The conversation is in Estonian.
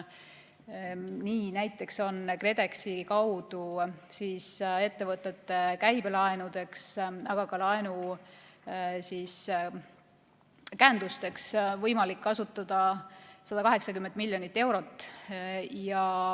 Nii näiteks on KredExi kaudu ettevõtete käibelaenudeks ja ka laenukäenduseks võimalik kasutada 180 miljonit eurot.